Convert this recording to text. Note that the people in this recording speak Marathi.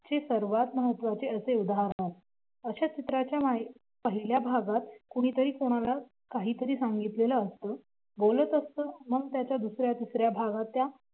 चे सर्वात महत्त्वाचे असे उदाहरण. अशा चित्राची माहिती पहिल्या भागात कुणीतरी कोणाला काहीतरी सांगितलेल असतं बोलत असतं त्याच्या दुसऱ्या तिसऱ्या भागात त्या